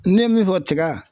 Ne ye min fɔ tiga